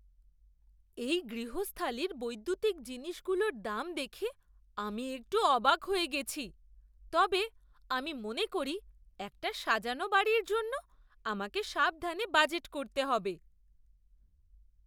এই গৃহস্থালির বৈদ্যুতিক জিনিসগুলোর দাম দেখে আমি একটু অবাক হয়ে গেছি, তবে আমি মনে করি একটা সাজানো বাড়ির জন্য আমাকে সাবধানে বাজেট করতে হবে।